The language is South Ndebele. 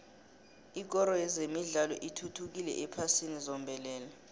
ikoro yezemidlalo ithuthukile ephasini zombelele